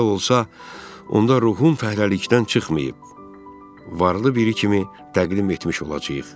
Belə olsa, onda ruhun fəhləlikdən çıxmayıb, varlı biri kimi təqdim etmiş olacağıq.